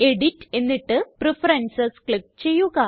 edit എന്നിട്ട് preferences click ചെയ്യുക